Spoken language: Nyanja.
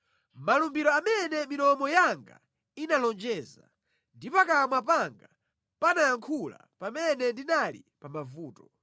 Malumbiro amene milomo yanga inalonjeza ndi pakamwa panga panayankhula pamene ndinali pa mavuto.